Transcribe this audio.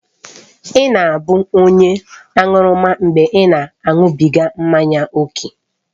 Ị na-abụ onye aṅụrụma mgbe ị na-aṅụbiga mmanya ókè